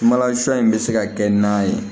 Malasi in bɛ se ka kɛ na ye